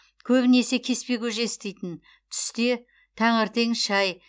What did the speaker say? көбінесе кеспе көже істейтін түсте таңертең шай